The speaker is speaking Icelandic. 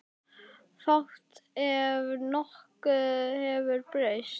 Fátt ef nokkuð hefur breyst.